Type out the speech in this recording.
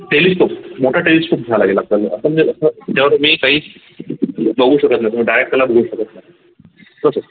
telescope मोठा telescope झाला याला पहिले आपण जे अस जेव्हा तुम्ही काही बघू शकत नाही तुम्ही direct त्याला बघू शकत नाही तसच